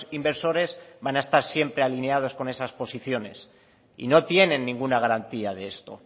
inversores van a estar siempre alineados con esas posiciones y no tienen ninguna garantía de esto